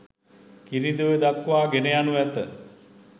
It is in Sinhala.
කිරිඳිඔය දක්වා ගෙන යනු ඇත.